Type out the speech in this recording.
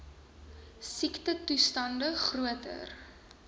siektetoe stande groter